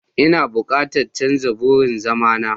Ina bukatan canza wurin zama na.